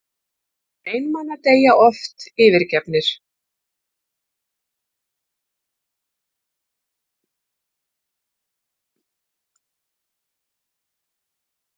Hinir einmana deyja oft yfirgefnir.